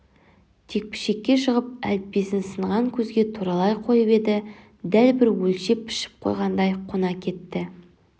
текпішекке шығып әліппесінсынған көзге туралай қойып еді дәл бір өлшеп-пішіп қойғандай қона кетті